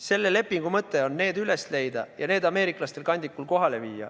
Selle lepingu mõte on see üles leida ja ameeriklastele kandikul kohale viia.